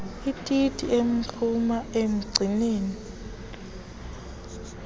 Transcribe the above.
ititi enomngxuma omncianen